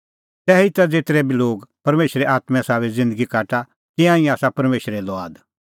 तैहीता ज़ेतरै बी लोग परमेशरे आत्में साबै ज़िन्दगी काटा तिंयां ई आसा परमेशरे लुआद